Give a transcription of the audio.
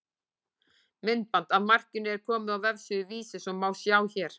Myndband af markinu er komið á vefsíðu Vísis og má sjá hér.